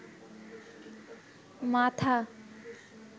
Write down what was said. মাথা